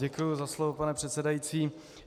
Děkuji za slovo, pane předsedající.